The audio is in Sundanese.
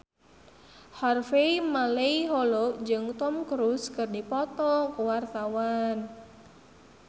Harvey Malaiholo jeung Tom Cruise keur dipoto ku wartawan